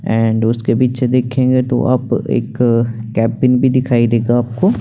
and उसके पीछे देखेगे तो आप एक कैपिंग भी दिखाई देगा आपको --